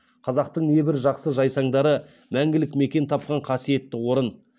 қазақтың небір жақсы жайсаңдары мәңгілік мекен тапқан қасиетті орын